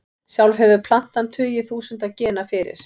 Sjálf hefur plantan tugi þúsunda gena fyrir.